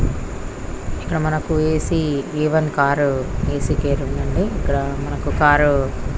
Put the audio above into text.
మనకి ఇక్కడ AC car ఉంది. అంది ఇక్కడ మనకి కార్ --